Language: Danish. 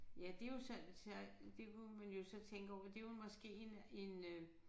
Ja det jo sådan så det kunne man jo så tænke over det jo måske en en øh